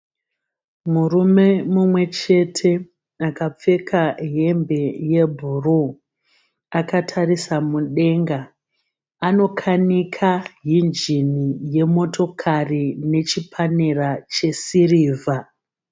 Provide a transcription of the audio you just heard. Murume mumwe chete akapfeka hembe yebhuruu. Akatarisa mudenga. Anokanika injini yemotokari nechipanera chesirivha.